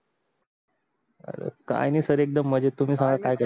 काय नाही सर एकदम मज्जेत तुम्ही सांगा काय करत आहे